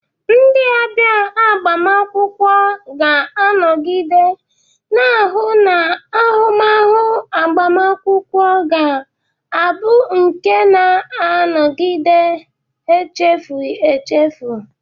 Ndị ọbịa agbamakwụkwọ ga-anọgide na-ahụ na ahụmahụ agbamakwụkwọ ga abu nke na-agaghi echefu echefu.